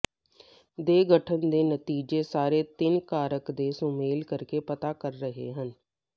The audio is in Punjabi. ਦੇ ਗਠਨ ਦੇ ਨਤੀਜੇ ਸਾਰੇ ਤਿੰਨ ਕਾਰਕ ਦੇ ਸੁਮੇਲ ਕਰਕੇ ਪਤਾ ਕਰ ਰਹੇ ਹਨ